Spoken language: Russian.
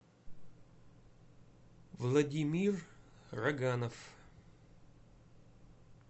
владимир роганов